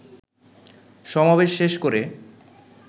সমাবেশ শেষ করে